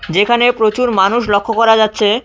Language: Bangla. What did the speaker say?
যেখানে প্রচুর মানুষ লক্ষ করা যাচ্ছে।